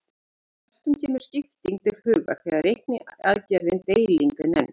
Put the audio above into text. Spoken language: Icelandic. Flestum kemur skipting til hugar þegar reikniaðgerðin deiling er nefnd.